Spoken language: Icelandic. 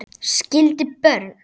Skildi börn.